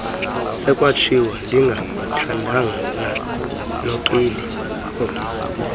sekwatshiwo ndingathandana nookeli